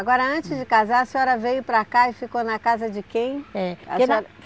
Agora, antes de casar, a senhora veio para cá e ficou na casa de quem? É